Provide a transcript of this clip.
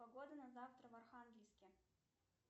погода на завтра в архангельске